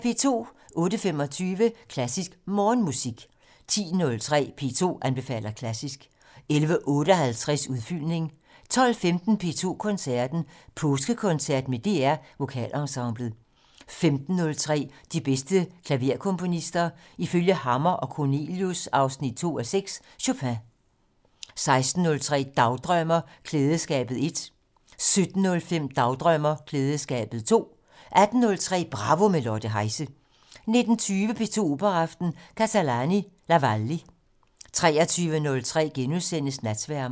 08:25: Klassisk Morgenmusik 10:03: P2 anbefaler klassisk 11:58: Udfyldning 12:15: P2 Koncerten - Påskekoncert med DR Vokalensemblet 15:03: De bedste klaverkomponister - ifølge Hammer & Cornelius 2:6: Chopin 16:03: Dagdrømmer: Klædeskabet 1 17:05: Dagdrømmer: Klædeskabet 2 18:03: Bravo - med Lotte Heise 19:20: P2 Operaaften - Catalani: La Wally 23:03: Natsværmeren *